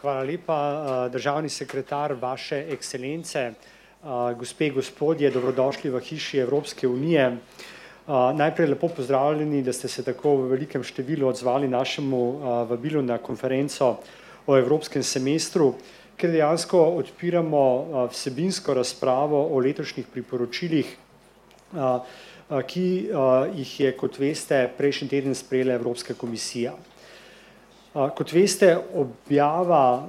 hvala lepa, državni sekretar vaše ekscelence, gospe, gospodje, dobrodošli v Hiši Evropske unije. najprej lepo pozdravljeni, da ste se v tako velikem številu odzvali našemu vabilu na konferenco o evropskem semestru, kjer dejansko odpiramo, vsebinsko razpravo o letošnjih priporočilih, ki, jih je, kot veste, prejšnji teden sprejela Evropska komisija. kot veste, objava,